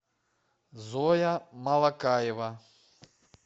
зоя малакаева